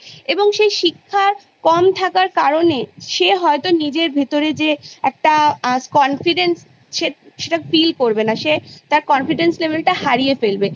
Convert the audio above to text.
এবং সে শিক্ষা কম থাকার কারণে সে হয়তো নিজের ভেতরের যে একটা আ Confidence সে সেটা Feel করবে না সে টা Confidence Level টা হারিয়ে ফেলবে